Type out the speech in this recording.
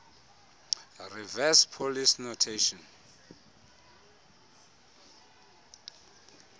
reverse polish notation